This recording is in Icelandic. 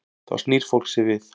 Þá snýr fólk sér við.